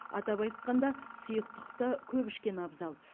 атап айтқанда сұйықтықты көп ішкен абзал